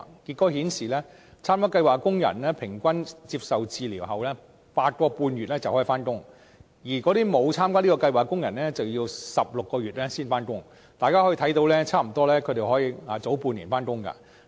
結果顯示，參加計劃的工人平均接受治療 8.5 個月就能復工，而沒有參加計劃的工人則需要16個月才能復工，可見參加計劃的工人可以早差不多半年復工。